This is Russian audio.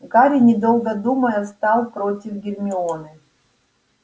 гарри недолго думая встал против гермионы